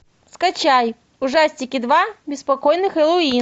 скачай ужастики два беспокойный хэллоуин